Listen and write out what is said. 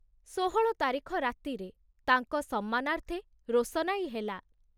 ଷୋହଳ ତାରିଖ ରାତିରେ ତାଙ୍କ ସମ୍ମାନାର୍ଥେ ରୋଶନାଇ ହେଲା।